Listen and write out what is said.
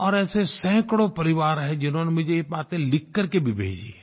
और ऐसे सैकड़ो परिवार हैं जिन्होंने मुझे ये बातें लिख करके भी भेजी हैं